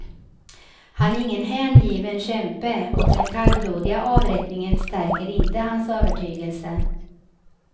Han är ingen hängiven kämpe och den kallblodiga avrättningen stärker inte hans övertygelse.